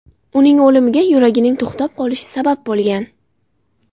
Uning o‘limiga yuragining to‘xtab qolishi sabab bo‘lgan.